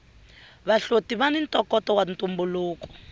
vahloti vani ntokoto wa ntumbuluko